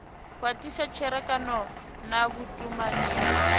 khwathisa tserekano na vhutumani ya